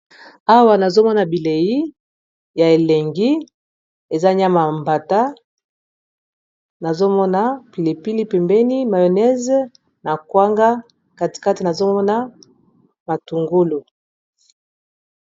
Awa nazomona bilei ya elengi eza nyama ya libata, nazomona pilipili pembeni mayonnaise na kwanga kati kati nazomona matungulu.